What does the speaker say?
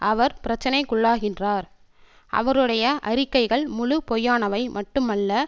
அவர் பிரச்சனைக்குள்ளாகின்றார் அவருடைய அறிக்கைகள் முழு பொய்யானவை மட்டுமல்ல